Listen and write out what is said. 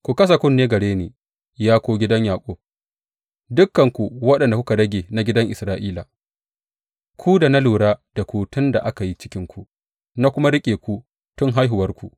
Ku kasa kunne gare ni, ya ku gidan Yaƙub, dukanku waɗanda kuka rage na gidan Isra’ila, ku da na lura da ku tun da aka yi cikinku, na kuma riƙe ku tun haihuwarku.